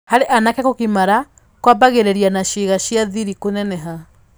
Harĩ anake kũgimara kwambagĩrĩria na ciĩga cia thiri kũneneha.